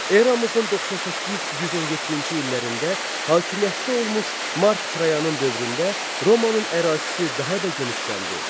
Eramızın 98-117-ci illərində hakimiyyətdə olmuş Mark Trayanın dövründə Romanın ərazisi daha da genişləndi.